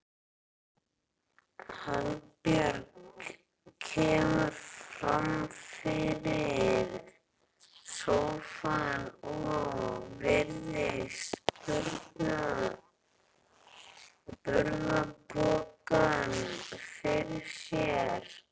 Hallbjörg kemur fram fyrir sófann og virðir burðarpokann fyrir sér.